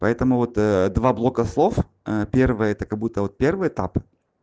поэтому вот два блока слов ээ первый это как будто вот первый этап